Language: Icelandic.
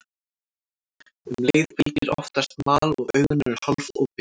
Um leið fylgir oftast mal og augun eru hálfopin.